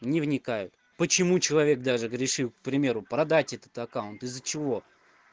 не вникает почему человек даже грешил к примеру продать этот аккаунт из-за чего